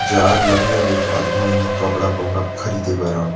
जाय ल लगही अब यहाँ कपड़ा फपड़ा खरीदे बर अब--